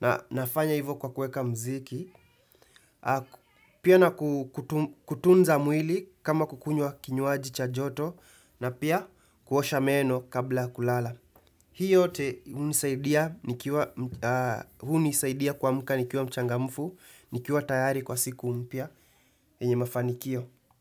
Na nafanya hivyo kwa kuweka muziki, pia na kutunza mwili kama kukunywa kinywaji cha joto na pia kuosha meno kabla ya kulala. Hii yote hunisaidia kuamka nikiwa mchangamfu, nikiwa tayari kwa siku mpya, yenye mafanikio.